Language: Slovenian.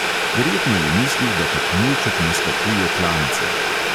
Verjetno je mislil, da kak mulček naskakuje klance.